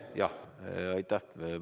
Jah, aitäh!